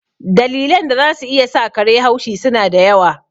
Dalilan da za su iya sa kare haushi su na da yawa.